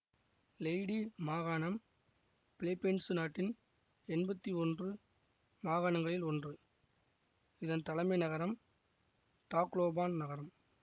Leyte மாகாணம் Philippines நாட்டின் எம்பத்தி ஒன்று மாகாணங்களில் ஒன்று இதன் தலைமை நகரம் தாக்லோபான் நகரம்